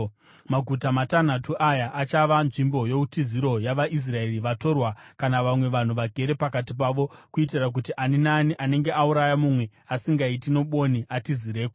Maguta matanhatu aya achava nzvimbo youtiziro yavaIsraeri, vatorwa kana vamwe vanhu vagere pakati pavo, kuitira kuti ani naani anenge auraya mumwe asingaiti nobwoni atizireko.